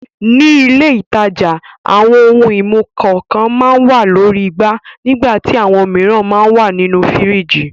Ní ilé-ìtajà àwọn ohun-ìmu kànkan máa ń wà lórí igbá nígbà tí àwọn mìíràn máa ń wà nínú fíríjì.